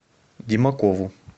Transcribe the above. демакову